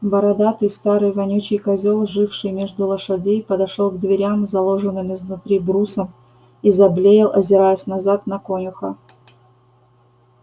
бородатый старый вонючий козел живший между лошадей подошёл к дверям заложенным изнутри брусом и заблеял озираясь назад на конюха